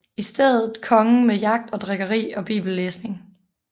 I stedet kongen med jagt og drikkeri og bibellæsning